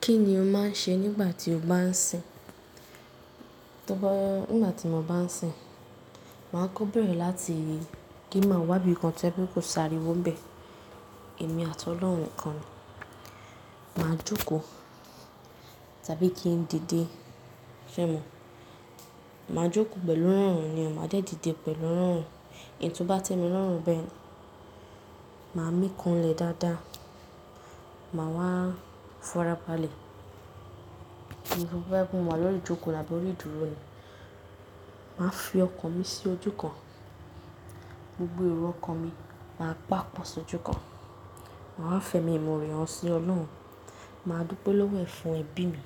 Kí ni o máa ń ṣe nígbà tí o bá ń sìn? Ngbà tí mo bá ń sìn, màá kó bèrè láti kí n màá wá ibìkan to ye pe kò sáriwọ nbẹ. Èmi àti Ọlọ́run nikan ni. Màá jókòó tàbí kí n dìde, ṣé mo? Màá jókòó pẹ̀lú irọ̀run ni o, màá dẹ̀ dìde pẹ̀lú irọ̀run. Í n tó bá tẹ́ mi lọ̀run bẹ́ẹ̀, màá mí kanlẹ̀ dáadáa. Màá wá fora balẹ̀. Tó bá jẹ́ pé mo wáa lórí ìjókòó labọ́rí ìdúró ni. Màá fi ọkàn mi sí ojú kan, gbogbo èrò ọkàn mi màá pàpọ̀ sójú kan. Màá wá fẹmi, imore hàn sí Ọlọ́run. Màá dúpẹ́ lọ́wọ́ ẹ̀ fún ẹbí mi,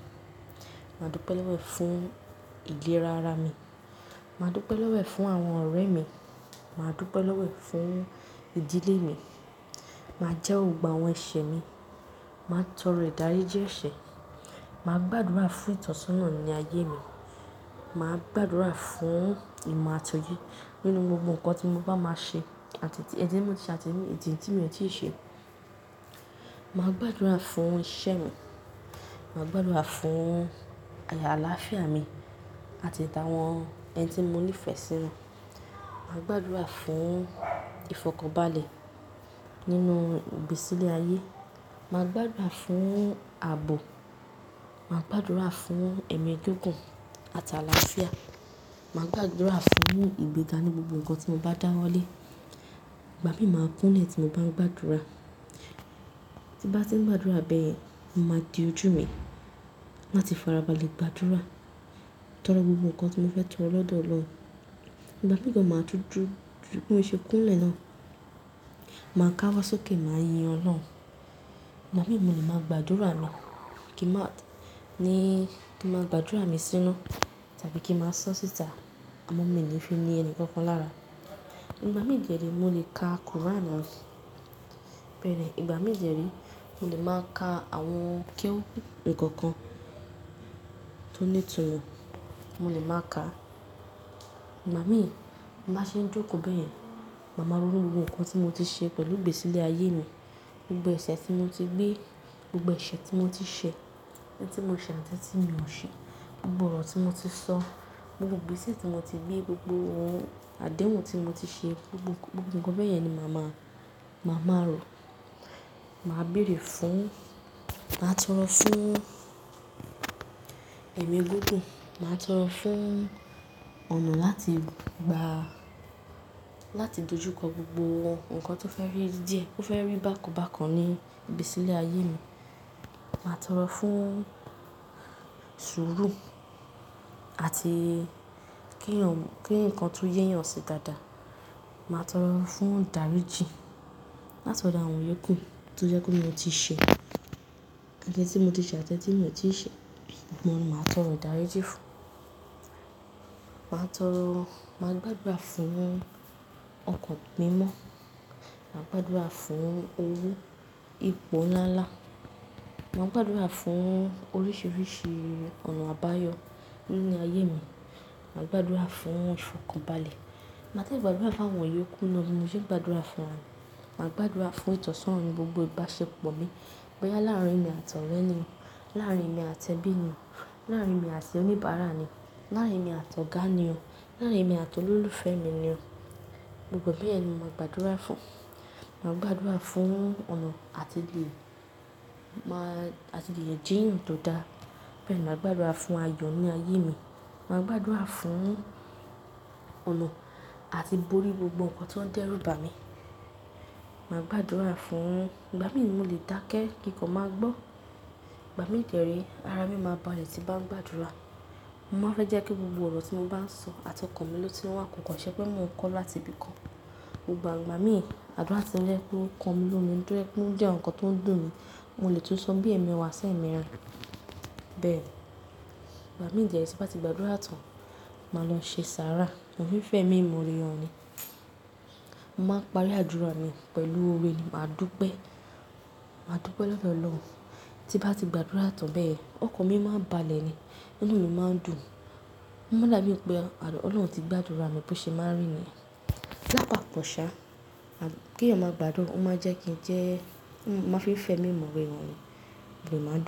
màá dúpẹ́ lọ́wọ́ ẹ̀ fún ìlera ara mi, màá dúpẹ́ lọ́wọ́ ẹ̀ fún àwọn ọ̀rẹ́ mi, màá dúpẹ́ lọ́wọ́ ẹ̀ fún ìdílé mi. Màá jẹ́ Òògùn àwọn ẹ̀ṣẹ̀ mi, màá tọrọ ìdáríjì ẹ̀ṣẹ̀, màá gbàdúrà fún ìtọ́sọ́nà ní ayé mi, màá gbàdúrà fún ìmọ̀ àti òye nínú gbogbo nǹkan tí mo bá máa ṣe àti ti ẹni tí mo ti ṣe àti tí mi ò tíì ṣe. Màá gbàdúrà fún iṣẹ́ mi, màá gbàdúrà fún àlàáfíà mi àti ìta àwọn ẹni tí mo ní ìfẹ́ sí wọn. Màá gbàdúrà fún ìfọ̀kànbalẹ̀ nínú ìgbésílẹ̀ ayé. Màá gbàdúrà fún ààbò, màá gbàdúrà fún ẹ̀mí gígùn àti àlàáfíà. Màá gbàdúrà fún ìgbéga ní gbogbo nǹkan tí mo bá dáwọ́ lé. Ìgbà mí màá kúnlẹ̀ tí mo bá ń gbàdúrà. Tí bá ti ń gbàdúrà bẹ́ẹ̀, mo máa di ojú mi láti fara balẹ̀ gbàdúrà torí gbogbo nǹkan tí mo fẹ́ tọrọ lọ́dọ̀ Ọlọ́run. Ìgbà mìíràn màá tú ju, ju bí mo ṣe kúnlẹ̀ náà, màá káwọ́ sókè, màá yin Ọlọ́run. Ìgbà mìí mo lè màá gbàdúrà mí, kí n má ní, kí n máa gbàdúrà mi síná tàbí kí n máa sọ síta. Àmọ́ mi ò ní fi ni ẹni kankan lára. Ìgbà mìíràn ni mo lè ka Quran. Bẹ́ẹ̀ ni, ìgbà mìíràn ni mo lè máa ka àwọn kewu nǹkan kan tó ní itunmọ, mo lè máa ka. Ìgbà mí bí ń bá ṣe ń jókòó bẹ́ẹ̀, màá máa rò ró gbogbo nǹkan tí mo ti ṣe pẹ̀lú ìgbésílẹ̀ ayé mi. Gbogbo ẹ̀ṣẹ̀ tí mo ti gbé, gbogbo ẹ̀ṣẹ̀ tí mo ti ṣe, ẹni tí mo ṣàtẹ̀ tí mi ò ṣe, gbogbo ọ̀rọ̀ tí mo ti sọ, gbogbo igbèsè tí mo ti gbé, gbogbo àdéhùn tí mo ti ṣe, gbogbo, gbogbo nǹkan bẹ́ẹ̀ yẹn ni màá máa, màá máa rò. Màá bèrè fún, màá tọrọ fún ẹ̀mí gúngùn. Màá tọrọ fún ọ̀nà láti gba, láti dojú kọ gbogbo nǹkan tó fẹ́ rí díẹ̀, tó fẹ́ rí bákan bákan ní ìgbésílẹ̀ ayé mi. Màá tọrọ fún sùúrù àti kí ǹkan tó yéyàn ṣe dáadáa. Màá tọrọ fún ìdáríjì láti ọ̀dọ̀ àwọn yòókù tó jẹ́ kó ni mo ti ṣe. Ẹni tí mo ti ṣẹ, atí ẹni tí mi ò tíì ṣe, gbogbo wọ́n ni màá tọrọ ìdáríjì fún. Màá tọrọ, màá gbàdúrà fún ọkàn mímọ́. Màá gbàdúrà fún owó, ipò ńlá ńlá. Màá gbàdúrà fún oríṣiríṣi ọ̀nà àbáyọ nínú ayé mi. Màá gbàdúrà fún ìfọ̀kànbalẹ̀. Màá dẹ gbàdúrà fún àwọn yòókù náà bí mo ṣe ń gbàdúrà fún ra mí. Màá gbàdúrà fún ìtọ́sọ́nà ní gbogbo ìbáṣepọ̀ mi, bóyá láàrin mi àti ọ̀rẹ́ ni o, láàrin mi àti ẹbí ni o, láàrin mi àti oníbàárà ni, láàrin mi àti ọ̀gá ni o, láàrin mi àti olólùfẹ́ mi ni o. Gbogbo ẹ bẹ́yẹn ni mo máa gbàdúrà fún. Màá gbàdúrà fún ọ̀nà àti ti lè, màá, àti ti lè jeeyàn tó dáa. Bẹ́ẹ̀ ni, màá gbàdúrà fún ayọ ní ayé mi. Màá gbàdúrà fún ọ̀nà àti bórí gbogbo nǹkan tó ń dẹ́rù bà mí. Màá gbàdúrà fún, ìgbà mí ni mo lè dákẹ́ kí nko má gbọ́. Ìgbà mìí, ara mi máa balẹ̀ tí bá ń gbàdúrà. Mo máa fẹ́ jẹ́ kí gbogbo ọ̀rọ̀ tí mo bá ń sọ àti ọkàn mi ló ti wá kọ́kọ́, ṣẹ́ pé mi ò kọ́ láti ibi kan. Ìgbà mìí, àdúrà tí ó jẹ́ pé ó ń kàn ní lominu, ọkàn mi ló ń dùn ẹ́, ẹ́ jẹ́ nǹkan tó ń dùn mí. Mo lè tún sọ bí ẹ̀mí wa ṣe ń mìíràn. Bẹ́ẹ̀ ni. Ìgbà mìí tí ń bá ti gbàdúrà tán, màá lọ ṣe sára, àwọn fífẹ́ mi mo rì wọ́n ni. Mo máa ń parí àdúrà mi pẹ̀lú òwe ni. Màá dúpẹ́, màá dúpẹ́ lọ́wọ́ Ọlọ́run. Tí bá ti gbàdúrà tán bẹ́ẹ̀, ọkàn mi máa ń balẹ̀ ni, inú mi máa ń dùn. Mo mọ̀ lábẹ́ o pé àlùpàpọ̀ Ọlọ́run ti gbàdúrà mi bó ṣe máa rí ni. Ó pàkọ̀ ṣá, kí èèyàn máa gbádùn, ó máa jẹ́ kí n jẹ́, mo máa fi ìfẹ́ mi mòwe wọ́n ni. Mo lè máa dúró.